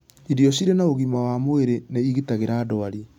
Irio cirĩ na ũgima wa mwĩrĩ nĩ igitagĩra ndwari